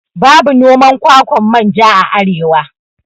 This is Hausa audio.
Babu noman kwakwan manja a arewa